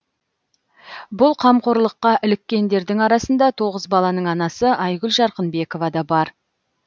бұл қамқорлыққа іліккендердің арасында тоғыз баланың анасы айгүл жарқынбекова да бар